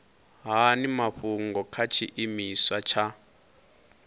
hani mafhungo kha tshiimiswa tsha